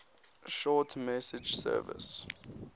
short message service